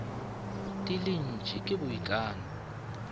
di le dintši ke boikano